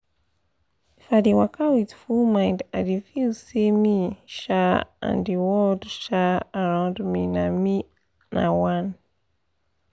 if i dey waka with full mind i dey feel say me um and the world um around me na me na one